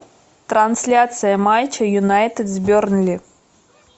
трансляция матча юнайтед с бернли